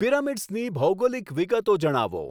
પીરામીડસની ભૌગોલિક વિગતો જણાવો